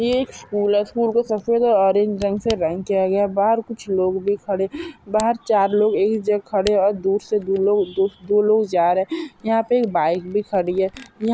ये एक स्कूल है स्कूल को सबसे सफेद ज़्यादा और ऑरेंज से रंग किया गया है बाहर कुछ लोग भी खड़े बाहर चार लोग एक जगह खड़े और दूर से दो लोग जा रहे है यहा पे एक बाईक भी खड़ी है।